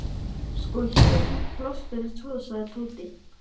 Sko, hér er fínt pláss fyrir tvo sagði Tóti.